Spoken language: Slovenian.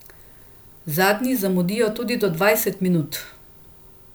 Zadnji zamudijo tudi do dvajset minut.